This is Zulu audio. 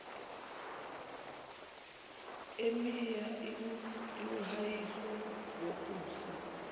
emia iwumhahiso wokusa